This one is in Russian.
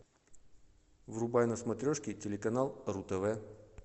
врубай на смотрешке телеканал ру тв